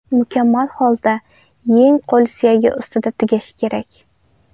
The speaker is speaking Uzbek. Mukammal holda yeng qo‘l suyagi ustida tugashi kerak.